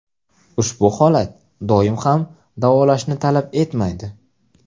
Ushbu holat doim ham davolashni talab etmaydi.